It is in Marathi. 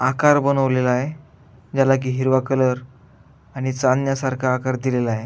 आकार बनवलेलाय ज्याला की हिरवा कलर आणि चांदण्यासारखा आकार दिलेलाय.